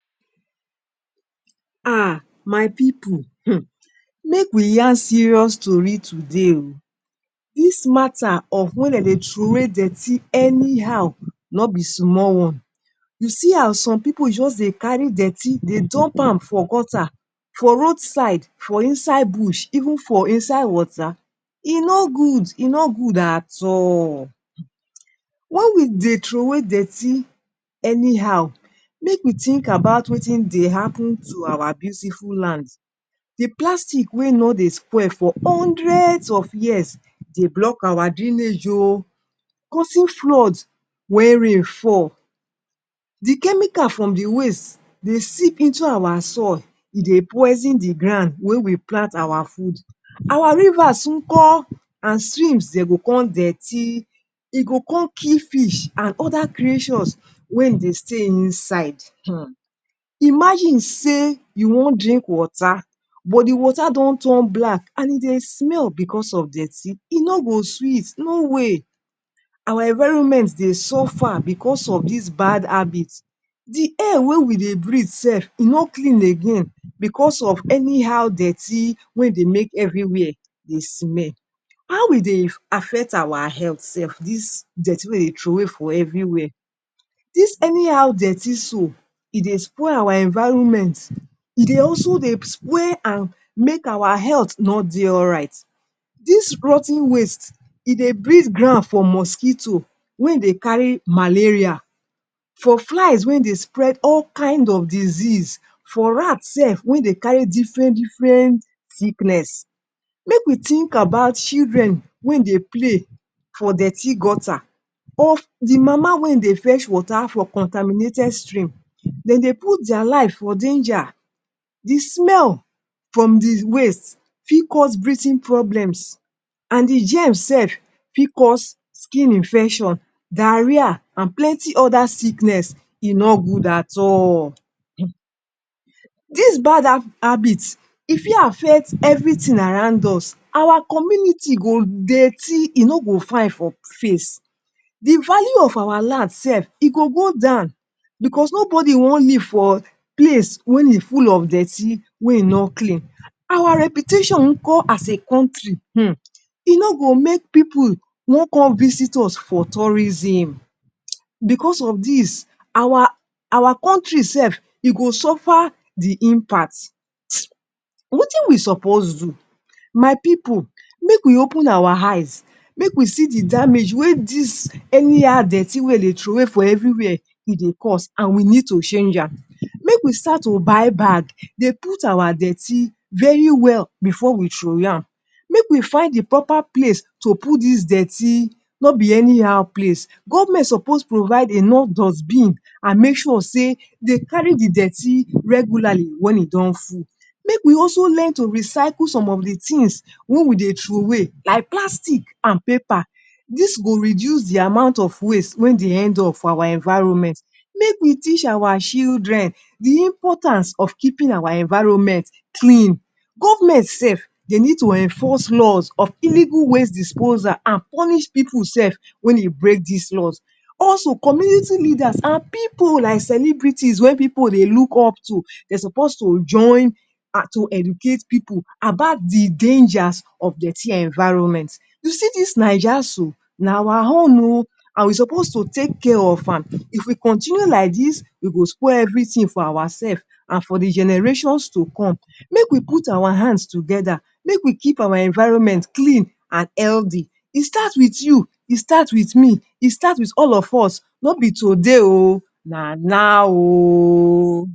Ahh! my pipu um! Make we yarn serious tori today o dis matta of wen dem day troway dirty anyhow nobi small one. You see how some pipu just dey carry dirty dey dump am for gutta for road side, for inside Bush, even for inside water e no good, e no good at all. Wen we dey troway dirty anyhow make we think about wetin dey happun to our beautiful land. Di plastic wey no dey spoil for hundreds of years dey block our drainage o, causing flood wen rain fall, di chemical from di waste dey sip into our soil e dey poison di ground wey we plant our food, our rivers nko and streams dem go con dirty e go con kill fish and oda creatures wen dey stay inside, um! Imagine say you wan drink water but di water don turn black and e dey smell bicos of dirty e no go sweet, no way. Our environment dey suffer bicos of dis bad habit. Di Air wey we dey breath sef e no clean again bicos of anyhow dirty wey dey make evriwia dey smell. How we dey affect our health sef dis dirty wey dey troway for evri wia. Dis anyhow dirty so, e dey spoil our environment e dey also dey and make our health no dey alright, dis rot ten waste e dey breed grand for mosquito, wen dey carry malaria for flies wen dey spread all kind of disease, for rat sef wen dey carry diffren diffrent sickness, make we think about children wen dey play for dirty gutta, or di mama wen dey fetch water for contaminated stream, dem dey put dia life for danger, di smell from di waste fit cause breathing problems, and the germs sef fit cause skin infection, diarrhoea and plenty oda sickness e no good at all um. Dis bad ha habit, e fit affect evritin around us, our community go dirty e no go fine for face, di value of our land sef e go go down, bicos nobody wan live for place wen e full of dirty wey e no clean. Our reputation nko as a country um. E no go make pipu wan come visit us for tourism, bicos of dis, our our country sef e go suffer di impact [hiss]. Wetin we suppose do? My pipu make we open our eyes, make we see di damage wey dis anyhow dirty wey dey troway for everywhere e dey cause, and we need to change am ,make we start to buy bag dey put our dirty very well bifor we troway am, make we find di proper place to put dis dirty no bi anyhow place, govment suppose provide enough dustbin and make sure sey dey cary di dirty regularly wen e don full. Make we also learn to recycle some of di tins wey we de troway like plastic and paper. dis go reduce di amount of waste wey dey end up for our environment, make we teach our children di importance of keeping our environment clean, govment sef dey need to enforce laws of illegal waste disposal and punish pipu sef wen e break dis laws ,also community leaders and pipu like celebrity wey pipu dey look up to, dey suppose to join and to educate pipu about di dangers of dirty environment, you see dis naija so, na our home o and we suppose to take care of am, if we continue like dis, we go spoil evritin for our sef an for di generations to come ,make we put our hands togeda, make we keep our environment clean and healthy, e start wit you, e start wit me, e start wit all of us nobi today ooooo, na now oooo!